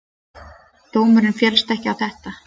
Dómurinn féllst ekki á þetta.